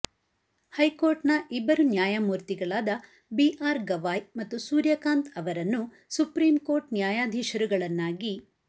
high court ನ ಇಬ್ಬರು ನ್ಯಾಯಮೂರ್ತಿಗಳಾದ ಬಿ ಆರ್ ಗವಾಯ್ ಮತ್ತು ಸೂರ್ಯಕಾಂತ್ ಅವರನ್ನು ಸುಪ್ರೀಂ ಕೋರ್ಟ್ ನ್ಯಾಯಾಧೀಶರುಗಳನ್ನಾಗಿ